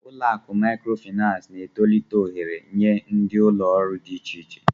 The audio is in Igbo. Ụlọ akụ Maịkrofịnansị na-etolite ohere nye ndi ụlọ ọrụ dị iche iche.